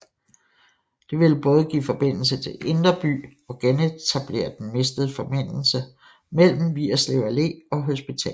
Det ville både give forbindelse til Indre By og genetablere den mistede forbindelse mellem Vigerslev Allé og hospitalet